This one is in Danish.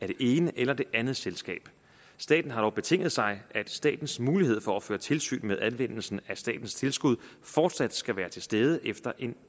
det ene eller det andet selskab staten har dog betinget sig at statens mulighed for at føre tilsyn med anvendelsen af statens tilskud fortsat skal være til stede efter en